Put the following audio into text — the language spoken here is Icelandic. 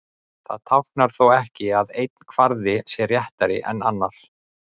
það táknar þó ekki að einn kvarði sé réttari en annar